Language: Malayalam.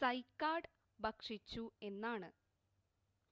സൈക്കാഡ് ഭക്ഷിച്ചു എന്നാണ്